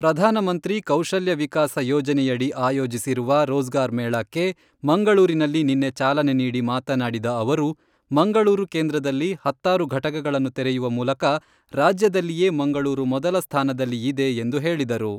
ಪ್ರಧಾನಮಂತ್ರಿ ಕೌಶಲ್ಯವಿಕಾಸ ಯೋಜನೆಯಡಿ ಆಯೋಜಿಸಿರುವ ರೋಜಗಾರ ಮೇಳಕ್ಕೆ ಮಂಗಳೂರಿನಲ್ಲಿ ನಿನ್ನೆ ಚಾಲನೆ ನೀಡಿ ಮಾತನಾಡಿದ ಅವರು , ಮಂಗಳೂರು ಕೇಂದ್ರದಲ್ಲಿ ಹತ್ತಾರು ಘಟಕಗಳನ್ನು ತೆರೆಯುವ ಮೂಲಕ ರಾಜ್ಯದಲ್ಲಿಯೇ ಮಂಗಳೂರು ಮೊದಲ ಸ್ಥಾನದಲ್ಲಿ ಇದೆ ಎಂದು ಹೇಳಿದರು.